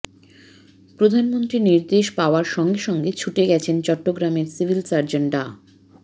প্রধানমন্ত্রীর নির্দেশ পাওয়ার সঙ্গে সঙ্গে ছুটে গেছেন চট্টগ্রামের সিভিল সার্জন ডা